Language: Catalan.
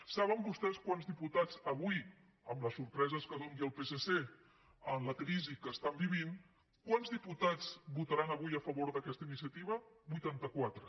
saben vostès quants diputats avui amb les sorpreses que doni el psc amb la crisi que viuen votaran a favor d’aquesta iniciativa vuitanta quatre